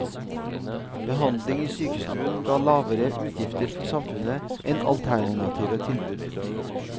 Behandling i sykestuen ga lavere utgifter for samfunnet enn alternative tilbud.